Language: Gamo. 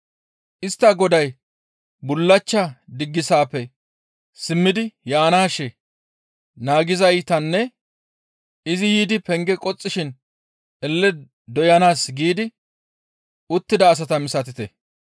Istta goday bullachcha diggisappe simmidi yaanaashe naagettizaytanne izi yiidi penge qoxxishin elle doyanaas giigi uttida asata misatite.